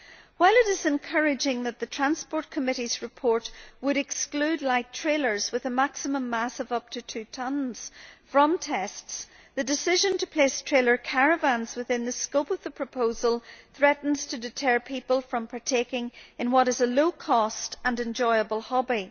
While it is encouraging that the Committee on Transport and Tourism's report would exclude light trailers with a maximum mass of up to two tonnes from tests, the decision to place trailer caravans within the scope of the proposal threatens to deter people from partaking in what is a low cost and enjoyable hobby.